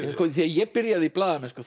þegar ég byrjaði í blaðamennsku